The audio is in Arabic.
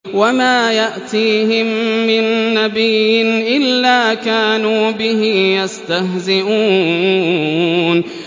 وَمَا يَأْتِيهِم مِّن نَّبِيٍّ إِلَّا كَانُوا بِهِ يَسْتَهْزِئُونَ